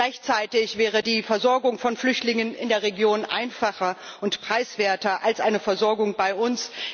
Gleichzeitig wäre die Versorgung von Flüchtlingen in der Region einfacher und preiswerter als eine Versorgung bei uns.